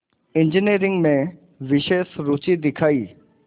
engineering में विशेष रुचि दिखाई